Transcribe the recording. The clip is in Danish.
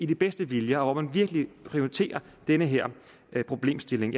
den bedste vilje og hvor man virkelig prioriterer den her problemstilling